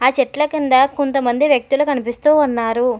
చెట్ల కింద కొంతమంది వ్యక్తులు కనిపిస్తూ ఉన్నారు.